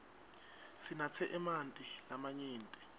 sinatse emanti lamanyenti